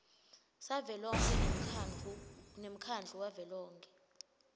savelonkhe nemkhandlu wavelonkhe